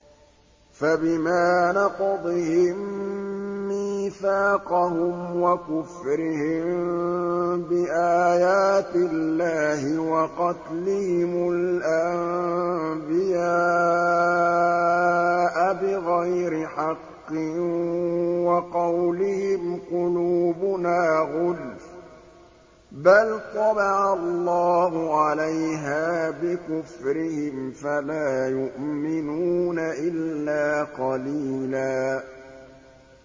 فَبِمَا نَقْضِهِم مِّيثَاقَهُمْ وَكُفْرِهِم بِآيَاتِ اللَّهِ وَقَتْلِهِمُ الْأَنبِيَاءَ بِغَيْرِ حَقٍّ وَقَوْلِهِمْ قُلُوبُنَا غُلْفٌ ۚ بَلْ طَبَعَ اللَّهُ عَلَيْهَا بِكُفْرِهِمْ فَلَا يُؤْمِنُونَ إِلَّا قَلِيلًا